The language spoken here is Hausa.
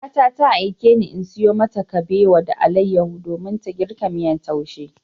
Yayata ta aikeni in sayo mata kabewa da alayyahu domin ta girka miyar taushe.